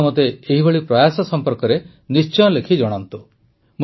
ଆପଣ ମୋତେ ଏହିଭଳି ପ୍ରୟାସ ସମ୍ପର୍କରେ ନିଶ୍ଚୟ ଲେଖି ଜଣାନ୍ତୁ